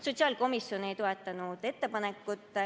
Sotsiaalkomisjon ei toetanud ettepanekut.